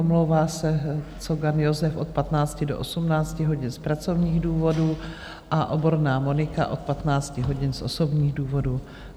Omlouvá se Cogan Josef od 15 do 18 hodin z pracovních důvodů a Oborná Monika od 15 hodin z osobních důvodů.